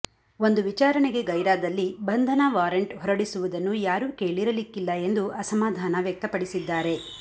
ಒಂದು ವಿಚಾರಣೆಗೆ ಗೈರಾದಲ್ಲಿ ಬಂಧನ ವಾರೆಂಟ್ ಹೊರಡಿಸುವುದನ್ನು ಯಾರು ಕೇಳಿರಲಿಕ್ಕಿಲ್ಲ ಎಂದು ಅಸಮಾಧಾನ ವ್ಯಕ್ತಪಡಿಸಿದ್ದಾರೆ